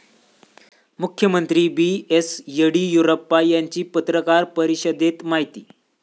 मुख्यमंत्री B. S. Yediyurappa यांची पत्रकार परिषदेत माहिती